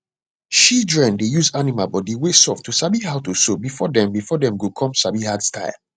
shidren dey use animal bodi wey soft to sabi how to sew before dem before dem go come sabi hard style